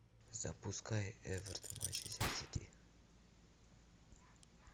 запускай эвертон манчестер сити